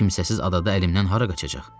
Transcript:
Kimsəsiz adada əlimdən hara qaçacaq?